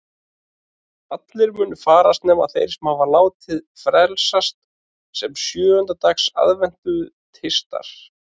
Allir munu farast nema þeir sem hafa látið frelsast sem sjöunda dags aðventistar.